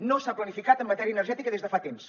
no s’ha planificat en matèria energètica des de fa temps